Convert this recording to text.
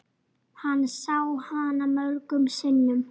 Tíminn hættur að líða.